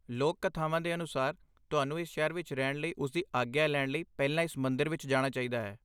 ਲੋਕ ਕਥਾਵਾਂ ਦੇ ਅਨੁਸਾਰ, ਤੁਹਾਨੂੰ ਇਸ ਸ਼ਹਿਰ ਵਿੱਚ ਰਹਿਣ ਲਈ ਉਸਦੀ ਆਗਿਆ ਲੈਣ ਲਈ ਪਹਿਲਾਂ ਇਸ ਮੰਦਰ ਵਿੱਚ ਜਾਣਾ ਚਾਹੀਦਾ ਹੈ